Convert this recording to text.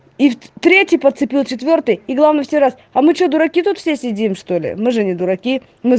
и третий подцепил четвёртый и главное в следующий раз а мы что дураки тут все сидим что-ли мы же не дураки